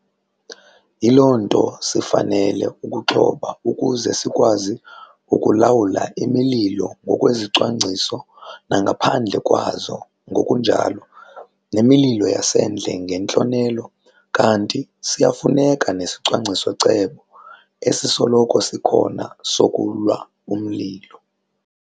Yiloo nto sifanele ukuxhoba ukuze sikwazi ukulawula imililo ngokwezicwangciso nangaphandle kwazo ngokunjalo nemililo yasendle ngentlonelo kanti siyafuneka nesicwangciso-cebo esisoloko sikhona sokulwa umlilo.